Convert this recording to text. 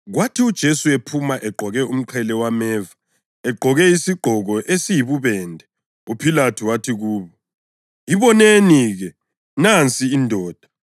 Kwathi uJesu ephuma egqoke umqhele wameva, egqoke isigqoko esiyibubende, uPhilathu wathi kubo, “Iboneni-ke, nansi indoda!”